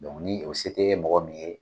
Bɔn ni o se te mɔgɔ min ye